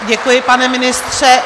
Děkuji, pane ministře.